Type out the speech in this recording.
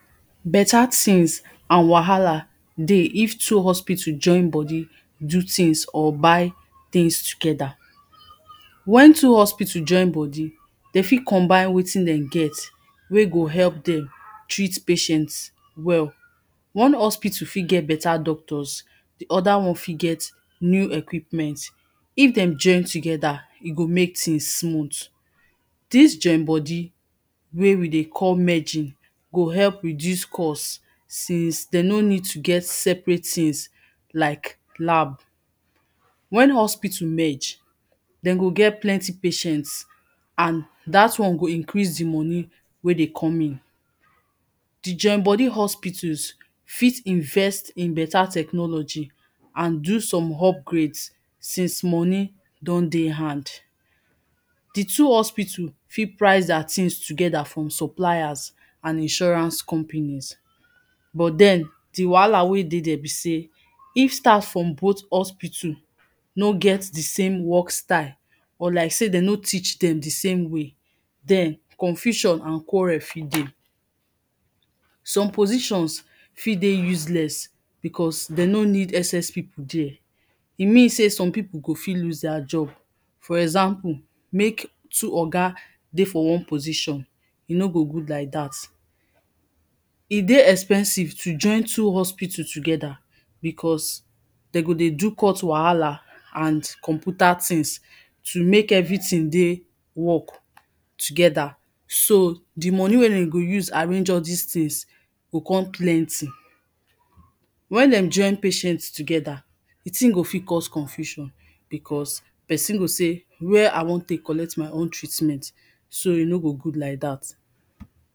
Better things and wahala dey if two hospital join body do things or buy things together. Wen two hospital join body dem fit combine wetin dem get wen go help dem treat patients well, one hospital fit get better doctors, di oda one fit get new equipments, if dem join together, e go make things smooth, dis join body wey we dey call merging, go help reduce cost since dem no need to get separate things like lab. Wen hospital merge dem go get plenty patient and dat one go increase di money wey dey come in. Di join body hospitals, fit invest in better technology and do some upgrades, since money don dey hand. Di two hospital fit price their thing together from suppliers and insurance companies. But den di wahala wey dey there be sey, each staff from both hospital no get di same work style or like sey dem no teach dem di same way, den confusion and quarrel fit dey, some positions fit dey useless because dem no need excess people there, e mean sey some people fit lose their job, for example make two oga dey for one position, e no go good like dat. E dey expensive to join two hospital together because dem go dey do court wahala and computer things to make everything dey work together, so di money wey dem go use arrange all dis things go come plenty. Wen dem join patients together, di thing go fit cause confusion because, person go sey where I wan take collect my own treatment, so e no go good like dat.